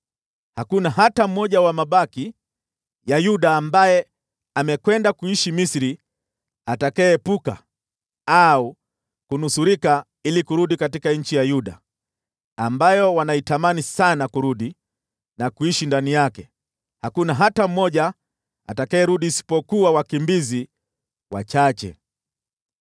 Hakuna hata mmoja wa mabaki ya Yuda ambaye amekwenda kuishi Misri atakayeepuka au kunusurika ili kurudi katika nchi ya Yuda, ambayo wanaitamani sana kurudi na kuishi ndani yake, hakuna hata mmoja atakayerudi isipokuwa wakimbizi wachache.”